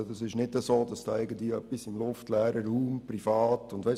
Es ist also nicht so, dass da irgendwie etwas im luftleeren Raum, privat gemacht wird.